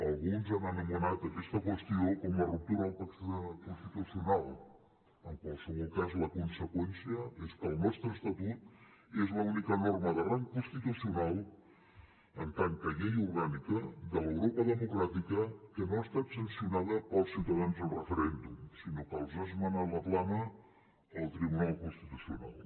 alguns han anomenat aquesta qüestió com la ruptura del pacte constitucional en qualsevol cas la conseqüència és que el nostre estatut és l’única norma de rang constitucional en tant que llei orgànica de l’europa democràtica que no ha estat sancionada pels ciutadans en referèndum sinó que els ha esmenat la plana el tribunal constitucional